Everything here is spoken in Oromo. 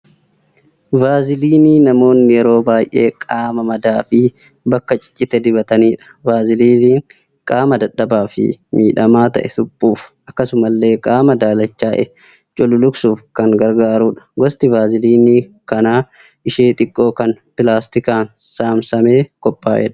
Vaasliinii namoonni yeroo baay'ee qaama madaafi bakka ciccite dibatanidha. Vaasliiniin qaama dadhabaafi miidhamaa ta'e suphuuf akkasumallee qaama daalachaa'e cululuqsuuf kan gargaarudha. Gosni vaasliinii kanaa ishee xiqqoo kan pilaastikaan saamsamee qophaa'edha.